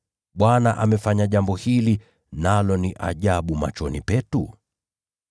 Bwana ndiye alitenda jambo hili, nalo ni ajabu machoni petu’?”